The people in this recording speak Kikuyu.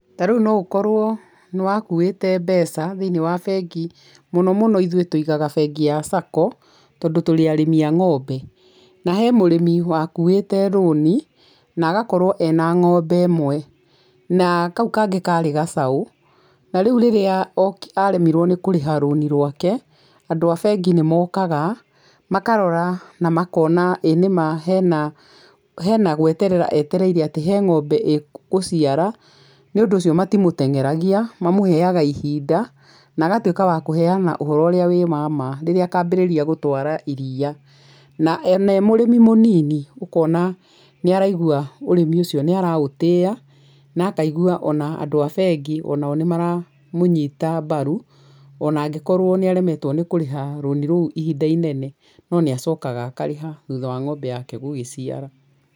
Ta rĩu no gũkorwo nĩ wakuĩte mbeca thĩiniĩ wa bengi, mũno mũno ithuĩ tũigaga bengi-inĩ ya sacco tondũ tũrĩ arĩmi a ng'ombe. Na he mũrĩmi wakuĩte rũni na agakorwo ena ng'ombe ĩmwe na kau kangĩ karĩ gacaũ na rĩu rĩrĩa aremirwo nĩ kũrĩha rũni rwake, andũ a bengi nĩ mokaga makarora na makona ĩ nĩma hena gweterera etereire atĩ he ng'ombe ĩgũcara nĩ ũndũ ũcio matimũteng'eragia, mamũheaga ihinda, na agatuĩka wa kũheana ũhoro ũrĩa wĩ wa ma, rĩrĩa akambĩrĩria gũtwara iria, na ona e mũrĩmi mũnini ũkona nĩ araigua ũrĩmi ũcio nĩaraũtĩĩa, na akaigua atĩ andũ abengi onao nĩmaramũnyita mbaru ona angĩkorũo nĩ aremetwo nĩ kũrĩha rũni rũu ihinda inene, no nĩ acokaga akarĩha thutha wa ng'ombe yake gũgĩciara.